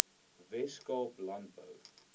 wes kaap landbou